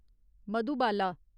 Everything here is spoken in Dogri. मधुबाला